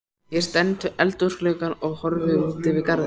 Ég stend við eldhúsgluggann og horfi út yfir garðana.